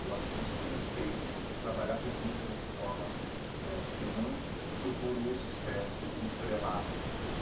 Eu acho que isso que me fez trabalhar com música dessa forma eh que eu não procuro o sucesso, o estrelato.